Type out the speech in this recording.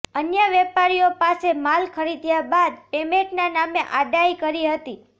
અન્ય વેપારીઓ પાસે માલ ખરીદ્યા બાદ પેમેન્ટના નામે આડાઇ કરી હતી